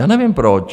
Já nevím proč.